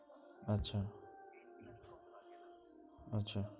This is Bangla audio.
আচ্ছা, আচ্ছা